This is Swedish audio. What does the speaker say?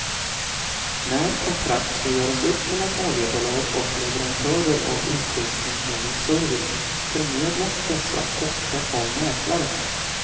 När kontrakt skall göras upp mellan oljebolag och leverantörer av utrustning eller service förmedlas dessa ofta av mäklare.